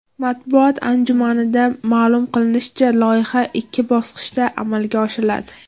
Matbuot anjumanida ma’lum qilinishicha, loyiha ikki bosqichda amalga oshiriladi.